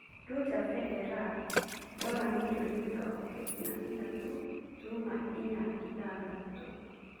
Roger Federer ndora mirioni mĩrongo kenda na ithatũ turuma inya ithathatũ